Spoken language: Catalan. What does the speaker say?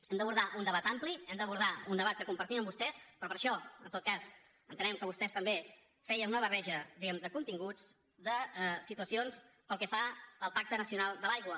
hem d’abordar un debat ampli hem d’abordar un debat que compartim amb vostès però per a això en tot cas entenem que vostès també feien una barreja diguem ne de continguts de situacions pel que fa al pacte nacional de l’aigua